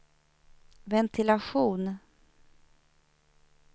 ventilation